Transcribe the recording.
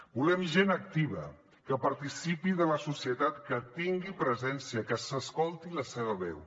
volem gent activa que participi de la societat que tingui presència que s’escolti la seva veu